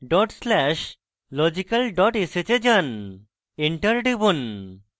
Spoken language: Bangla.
dot slash logical dot sh এ যান enter টিপুন